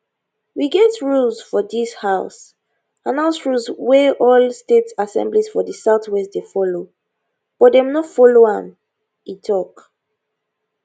we get rules for dis house and house rules wey all state assemblies for di southwest dey follow but dem no follow am e tok